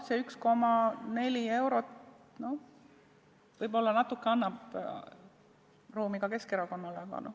See 1,4 eurot võib-olla natukene annab ruumi ka Keskerakonnale.